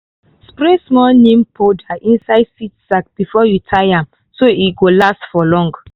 spray small neem powder inside seed sack before you tie am so e go last for long